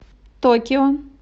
токио